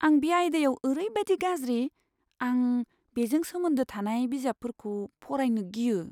आं बे आयदायाव ओरैबादि गाज्रि, आं बेजों सोमोन्दो थानाय बिजाबफोरखौ फरायनो गियो।